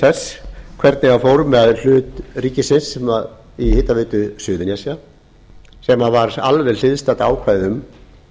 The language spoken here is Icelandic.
þess hvernig fór með hlut ríkisins í hitaveitu suðurnesja sem var alveg hliðstætt ákvæði um